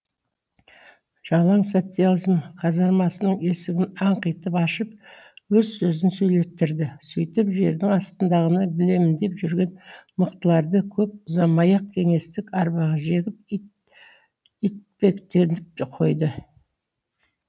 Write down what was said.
жалаң социализм казармасының есігін аңқитып ашып өз сөзін сөйлеттірді сөйтіп жердің астындағыны білемін деп жүрген мықтыларды көп ұзамай ақ кеңестік арбаға жегіп итпектетіп қойды